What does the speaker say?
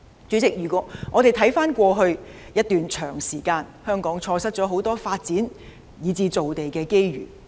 主席，回望過去一段長時間，香港錯失了很多發展造地的機遇。